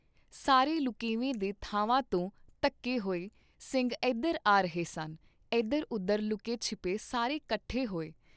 ਸਾਰੇ ਲੁਕੇਵੇਂ ਦੇ ਥਾਵਾਂ ਤੋਂ ਧੱਕੇ ਹੋਏ ਸਿੰਘ ਇਧਰ ਆ ਰਹੇ ਸਨ, ਇਧਰ ਉਧਰ ਲੁਕੇ ਛਿਪੇ ਸਾਰੇ ਕੱਠੇ ਹੋਏ।